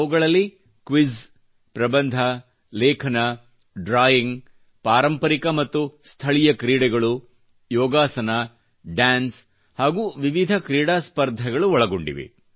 ಅವುಗಳಲ್ಲಿ ಕ್ವಿಜ್ ನಿಬಂಧ ಲೇಖನ ಡ್ರಾಯಿಂಗ್ ಪಾರಂಪರಿ ಮತ್ತು ಸ್ಥಳೀಯ ಕ್ರೀಡೆಗಳು ಯೋಗಾಸನ ಡಾನ್ಸ ಹಾಗೂ ವಿವಿಧ ಕ್ರೀಡಾ ಸ್ಪರ್ಧೆಗಳು ಒಳಗೊಂಡಿವೆ